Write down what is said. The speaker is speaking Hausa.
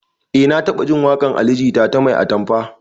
Eh na taɓajin waƙar ali jita ta 'mai atamfa'